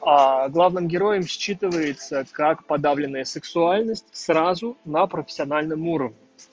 главным героем считывается как подавленная сексуальность сразу на профессиональном уровне